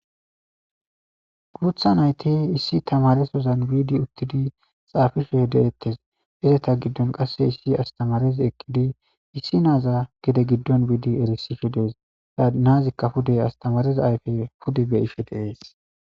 Gurutha nayte issi tamaresozan biidi uttidi xaafifuhe de'ettes izeta giddon qasse issi astamarez ekkidi issi naaza gede giddon biidi erisifhe dees saa naazikka pudey astamareza ayfey pude be ifhe deees.